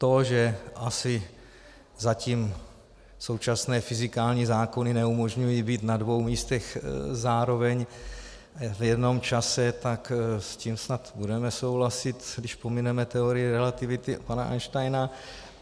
To, že asi zatím současné fyzikální zákony neumožňují být na dvou místech zároveň v jednom čase, tak s tím snad budeme souhlasit, když pomineme teorii relativity pana Einsteina.